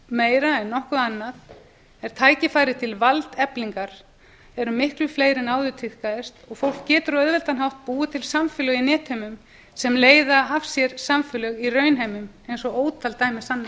meira en nokkur annað er að tækifæri til valdeflingar eru miklu fleiri en áður tíðkaðist og fólk getur á auðveldan hátt búið til samfélög í netheimum sem leiða af sér samfélög í raunheimum eins og ótal dæmi sanna